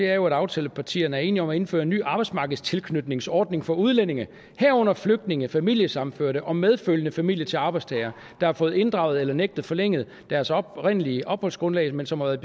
er jo at aftalepartierne er enige om at indføre en ny arbejdsmarkedstilknytningsordning for udlændinge herunder flygtninge familiesammenførte og medfølgende familie til arbejdstagere der har fået inddraget eller nægtet forlænget deres oprindelige opholdsgrundlag men som har været